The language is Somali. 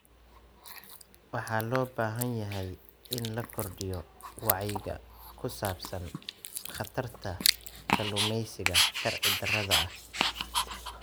Waxa loo baahan yahay in la kordhiyo wacyiga ku saabsan khatarta kalluumaysiga sharci darrada ah.